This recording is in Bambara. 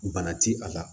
Bana ti a la